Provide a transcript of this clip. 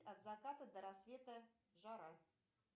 от заката до рассвета жара